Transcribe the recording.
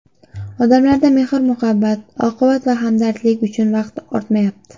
Odamlarda mehr-muhabbat, oqibat va hamdardlik uchun vaqt ortmayapti.